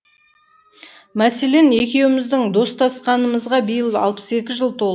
мәселен екеуміздің достасқанымызға биыл алпыс екі жыл тол